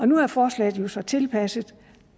nu er forslaget så blevet tilpasset